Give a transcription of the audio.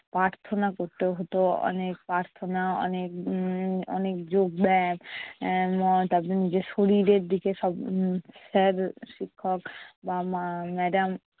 প্রার্থনা করতে হতো অনেক প্রার্থনা অনেক উম অনেক যোগব্যাম উম তারপর নিজের শরীরের দিকে সব উম sir শিক্ষক বা মা~ madam